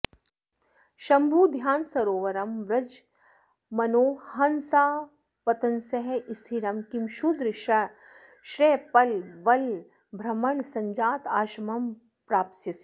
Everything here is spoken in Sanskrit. शम्भुध्यानसरोवरं व्रज मनो हंसावतंस स्थिरं किं क्षुद्राश्रयपल्वलभ्रमणसञ्जातश्रमं प्राप्स्यसि